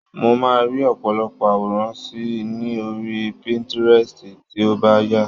Mo máa rí òpòlopò àwòrán síi ní orí pinterest tí ó bà yà